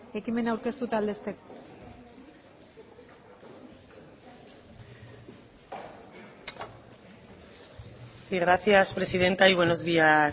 ekimena aurkeztu eta aldezteko sí gracias presidenta y buenos días